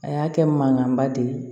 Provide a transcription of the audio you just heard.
A y'a kɛ mankanba de ye